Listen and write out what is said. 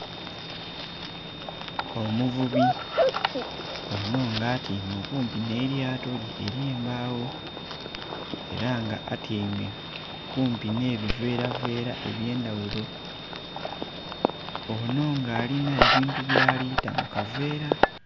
Omuvubi ono nga atyaime okumpi n'elyato lye ery'embagho era nga atyaime kumpi n'ebiveera veera ebyendhaghulo ono nga alina ebintu by'alita mukaveera.